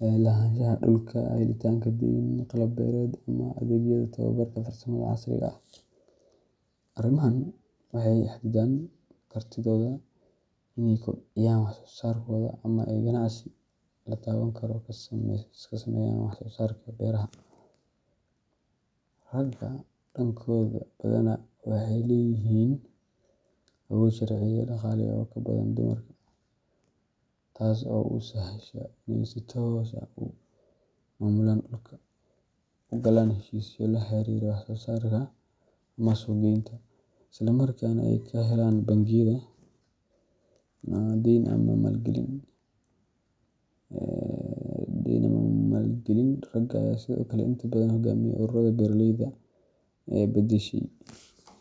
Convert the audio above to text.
lahaanshaha dhulka, helitaanka deyn, qalab beereed, ama adeegyada tababarka farsamada casriga ah. Arrimahan waxay xaddidaan kartidooda inay kobciyaan wax-soo-saarkooda ama ay ganacsi la taaban karo ka sameeyaan wax-soo-saarka beeraha. Ragga, dhankooda, badanaa waxay leeyihiin awood sharci iyo dhaqaale oo ka badan dumarka, taas oo u sahasha inay si toos ah u maamulaan dhulka, u galaan heshiisyo la xiriira wax-soo-saarka ama suuq-geynta, isla markaana ay ka helaan bangiyada deyn ama maalgelin. Ragga ayaa sidoo kale inta badan hoggaamiya ururada beeraleyda ama la-tashiga la xiriira qorsheynta wax-soo-saarka, inkastoo arrintan ay is beddeshay.